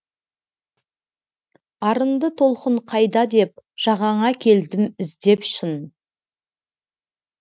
арынды толқын қайда деп жағаңа келдім іздеп шын